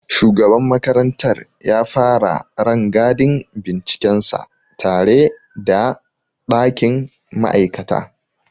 Shugaban makarantar ya fara rangadin bincikensa tare da ɗakin ma'aikata.